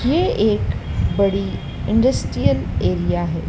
ये एक बड़ी इंडस्ट्रियल एरिया हैं।